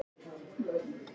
Eins og ég hef sagt frá.